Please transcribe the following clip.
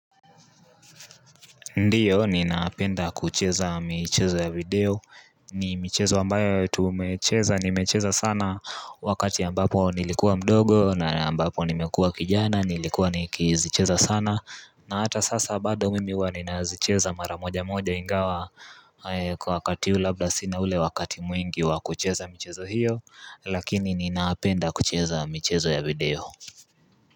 Ndiyo ninapenda kucheza michezo ya video ni michezo ambayo tumecheza nimecheza sana wakati ambapo nilikuwa mdogo na ambapo nimekuwa kijana nilikuwa nikizicheza sana na hata sasa bado mimi huwa ninazicheza maramoja moja ingawa kwa wakati huu labla sina ule wakati mwingi wa kucheza michezo hiyo lakini ninaapenda kucheza mchezo ya video.